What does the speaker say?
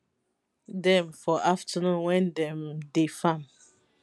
dem for afternoon wen dem dey farm